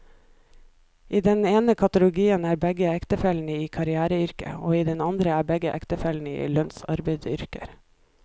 I den ene kategorien er begge ektefellene i karriereyrker, og i den andre er begge ektefellene i lønnsarbeideryrker.